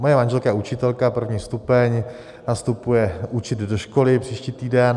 Moje manželka je učitelka, první stupeň, nastupuje učit do školy příští týden.